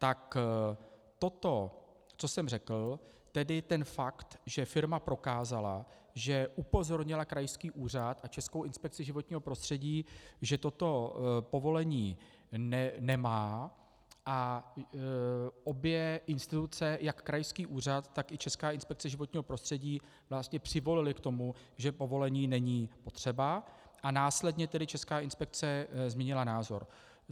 Tak toto, co jsem řekl, tedy ten fakt, že firma prokázala, že upozornila krajský úřad a Českou inspekci životního prostředí, že toto povolení nemá, a obě instituce, jak krajský úřad, tak i Česká inspekce životního prostředí vlastně přivolily k tomu, že povolení není potřeba, a následně tedy Česká inspekce změnila názor.